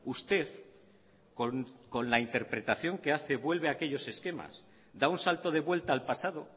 usted con la interpretación que hace vuelve a aquellos esquemas da un salto de vuelta al pasado